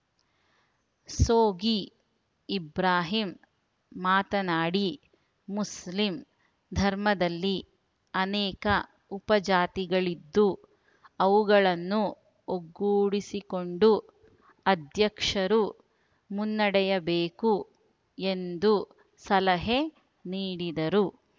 ಸೋಗಿ ಇಬ್ರಾಹಿಂ ಮಾತನಾಡಿ ಮುಸ್ಲಿಂ ಧರ್ಮದಲ್ಲಿ ಅನೇಕ ಉಪಜಾತಿಗಳಿದ್ದು ಅವುಗಳನ್ನು ಒಗ್ಗೂಡಿಸಿಕೊಂಡು ಅಧ್ಯಕ್ಷರು ಮುನ್ನಡೆಯಬೇಕು ಎಂದು ಸಲಹೆ ನೀಡಿದರು